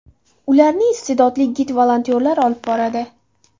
Ularni iste’dodli gid-volontyorlar olib boradi.